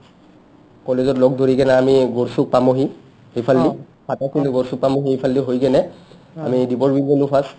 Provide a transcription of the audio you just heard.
কলেজত লগ ধৰিকিনে আমি গড়চূক পামহি সিফালদি গড়চূক হৈ কিনে আমি দিপৰ বিল পালো first